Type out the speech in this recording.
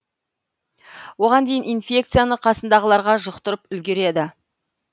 оған дейін инфекцияны қасындағыларға жұқтырып үлгереді